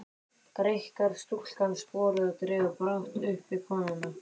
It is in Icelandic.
Greikkar stúlkan sporið og dregur brátt uppi konuna.